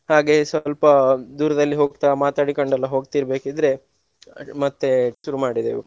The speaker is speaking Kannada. ಹಾಗೆಯೇ ಸ್ವಲ್ಪ ದೂರದಲ್ಲಿ ಹೋಗ್ತಾ ಮಾತಾಡಿಕೊಂಡೆಲ್ಲ ಹೋಗ್ತಿರ್ಬೇಕಿದ್ರೆ ಮತ್ತೆ ಶುರು ಮಾಡಿದ್ದೇವೆ.